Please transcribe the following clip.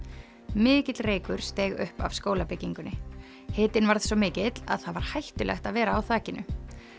mikill reykur steig upp af skólabyggingunni hitinn varð svo mikill að það var hættulegt að vera á þakinu